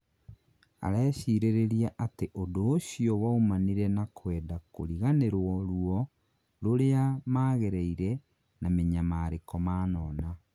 Arecirĩrĩria atĩ ũndũ ũcio waumanire na kwenda kũriganĩrwo rũo rũria magereire na minyamariko manona